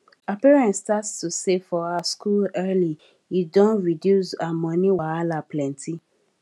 her parents start to save for her school early e don reduce her money wahala plenty